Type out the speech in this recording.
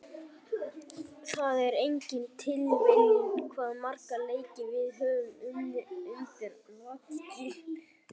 Það er engin tilviljun hvað marga leiki við höfum unnið undir lokin.